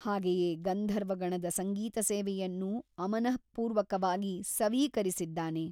ಹಾಗೆಯೇ ಗಂಧರ್ವಗಣದ ಸಂಗೀತಸೇವೆಯನ್ನೂ ಅಮನಃಪೂರ್ವಕವಾಗಿ ಸವೀಕರಿಸಿದ್ದಾನೆ.